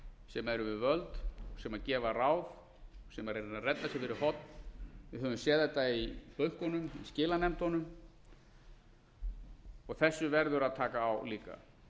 sem eru við völd sem gefa ráð sem eru að reyna að redda sér fyrir horn við höfum séð þetta í bönkunum í skilanefndunum og þessu verður að taka á líka